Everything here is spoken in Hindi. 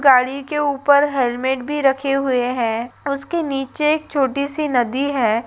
गाड़ी के ऊपर हेलमेट भी रखे हुए हैं उसके नीचे एक छोटी सी नदी हैं।